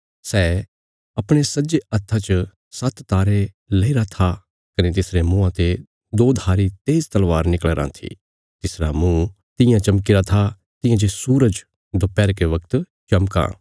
सै अपणे सज्जे हत्था च सात्त तारे लईरे था कने तिसरे मुँआं ते दोधारी तेज तलवार निकल़ी राँ थी तिसरा मुँह तियां चमकीरा था तियां जे सूरज दोपैहरके बगत चमकां